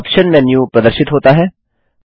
option menu प्रदर्शित होता है